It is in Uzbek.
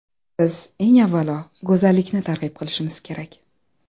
Biz, eng avvalo, go‘zallikni targ‘ib qilishimiz kerak.